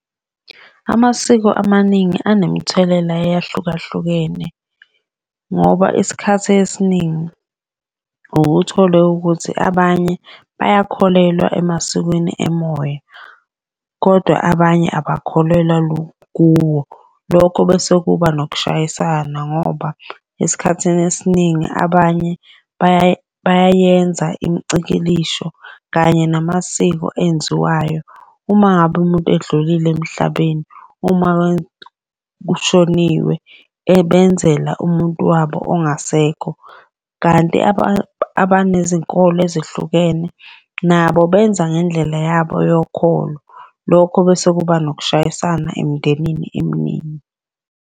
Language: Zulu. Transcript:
Amasiko amaningi anemthelela eyahlukahlukene ngoba isikhathi esiningi uke uthole ukuthi abanye bayakholelwa emasikweni emoya, kodwa abanye abakholelwa kuwo. Lokho bese kuba nokushayisana ngoba esikhathini esiningi abanye bayayenza imicikilisho kanye namasiko enziwayo. Uma ngabe umuntu edlulile emhlabeni, uma kushoniwe ebenzela umuntu wabo ongasekho, kanti abantu nezinkolo ezehlukene nabo benza ngendlela yabo yokholo. Lokho bese kuba nokushayisana emindenini eminingi.